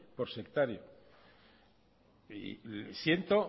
por sectario y siento